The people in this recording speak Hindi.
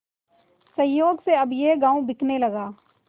संयोग से अब यह गॉँव बिकने लगा